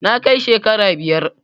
na kai shekara biyar